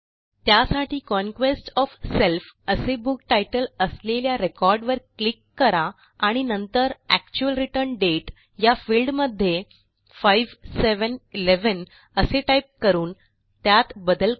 त्यासाठी conquest of self असे book तितले असलेल्या रेकॉर्ड वर क्लिक करा आणि नंतर एक्चुअल रिटर्न दाते या फील्ड मध्ये 5711 असे टाईप करून त्यात बदल करा